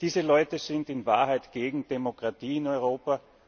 Diese Leute sind in Wahrheit gegen Demokratie in Europa.